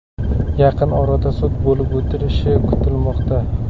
Yaqin orada sud bo‘lib o‘tishi kutilmoqda.